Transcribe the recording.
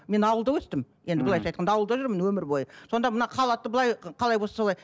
мен ауылда өстім енді былайынша айтқанда ауылда жүрмін өмір бойы сонда мына халатты былай қалай болса солай